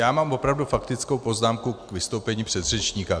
Já mám opravdu faktickou poznámku k vystoupení předřečníka.